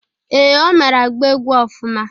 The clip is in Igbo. Ee, Ọ mara agba egwu ọfụma?